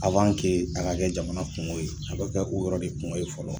a ka kɛ jamana kungo ye, a bɛ kɛ o yɔrɔ de kungo ye fɔlɔ